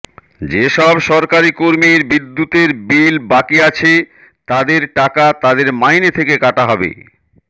যে সব সরকারি কর্মীর বিদ্যুতের বিল বাকি আছে তাদের টাকা তাদের মাইনে থেকে কাটা হবে